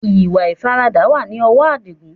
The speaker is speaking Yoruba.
Ìwà ìfaradà wá ní ọwọ adigun